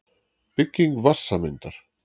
Bygging vatnssameindar.